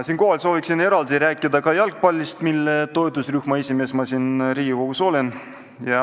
Siinkohal soovin eraldi rääkida ka jalgpallist, mille toetusrühma esimees ma siin Riigikogus olen.